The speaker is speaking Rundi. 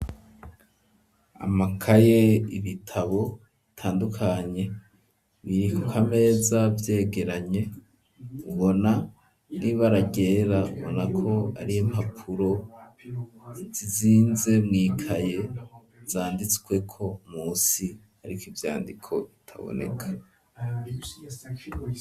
Amakaye, ibitabo bitandukanye, biri ku kameza vyegeranye, ubona n'ibara ryera ubona ko ari impapuro zizinze mwikaye, zanditsweko munsi, ariko ivyandiko bitaboneka.